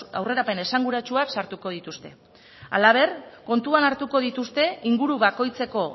aurrerapen esanguratsuak sartuko dituzte halaber kontutan hartuko dituzte inguru bakoitzeko